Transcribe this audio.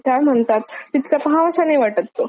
हम्म हम्म.. तेवढी म्हणजे मज्जा नाही येत बघतांना.